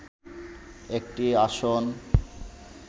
একটি আসন